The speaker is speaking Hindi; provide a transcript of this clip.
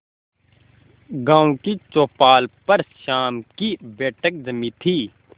गांव की चौपाल पर शाम की बैठक जमी थी